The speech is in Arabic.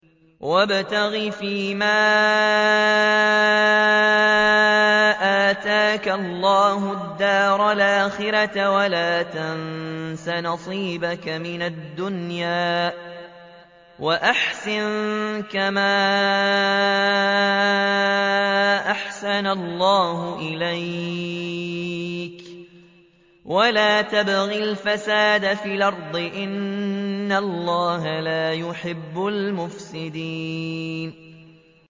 وَابْتَغِ فِيمَا آتَاكَ اللَّهُ الدَّارَ الْآخِرَةَ ۖ وَلَا تَنسَ نَصِيبَكَ مِنَ الدُّنْيَا ۖ وَأَحْسِن كَمَا أَحْسَنَ اللَّهُ إِلَيْكَ ۖ وَلَا تَبْغِ الْفَسَادَ فِي الْأَرْضِ ۖ إِنَّ اللَّهَ لَا يُحِبُّ الْمُفْسِدِينَ